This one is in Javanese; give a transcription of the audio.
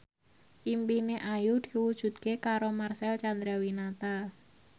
impine Ayu diwujudke karo Marcel Chandrawinata